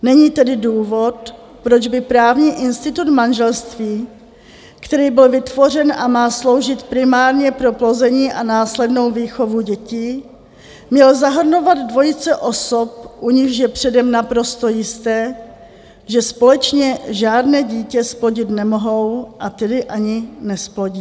Není tedy důvod, proč by právní institut manželství, který byl vytvořen a má sloužit primárně pro plození a následnou výchovu dětí, měl zahrnovat dvojice osob, u nichž je předem naprosto jisté, že společně žádné dítě zplodit nemohou, a tedy ani nezplodí.